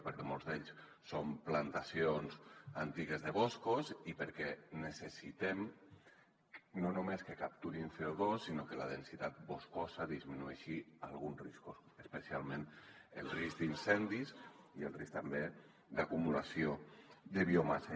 perquè molts d’ells són plantacions antigues de boscos i perquè necessitem no només que capturin codisminueixi alguns riscos especialment el risc d’incendis i el risc també d’acumulació de biomassa